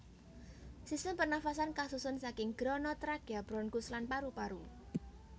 Sistem pernafasan kasusun saking grana trakea bronkus lan paru paru